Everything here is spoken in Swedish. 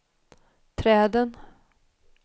träden